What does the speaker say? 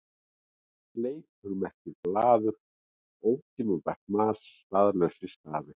Fleipur merkir blaður, ótímabært mas, staðlausir stafir.